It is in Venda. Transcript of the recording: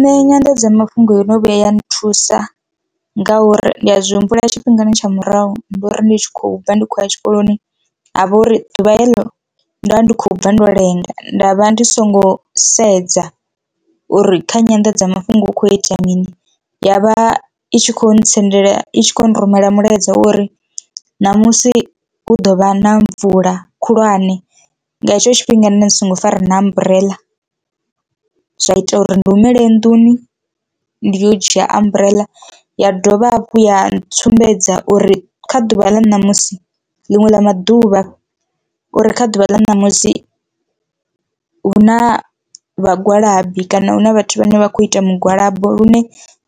Nṋe nyanḓadzamafhungo yo no vhuya ya nthusa nga uri ndi a zwi humbula tshifhingani tsha murahu ndi uri ndi tshi khou bva ndi khou ya tshikoloni havha uri ḓuvha heḽo nda ndi khou bva ndo lenga nda vha ndi songo sedza uri kha nyanḓadzamafhungo hu kho itea mini, yavha itshi kho ntsendela i tshi khou rumela mulaedza wa uri ṋamusi hu ḓovha na mvula khulwane nga hetsho tshifhinga nṋe dzi songo fara na amburela. Zwa ita uri ndi humele nnḓuni ndi yo dzhia amburela ya dovha hafhu ya ntsumbedza uri kha ḓuvha ḽa ṋamusi ḽiṅwe ḽa maḓuvha uri kha ḓuvha ḽa ṋamusi huna vhagwalabi kana hu na vhathu vhane vha kho ita mugwalabo lune